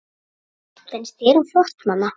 Finnst þér hún flott, mamma?